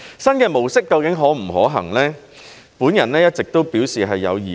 新的模式究竟可不可行，我一直都表示有疑慮。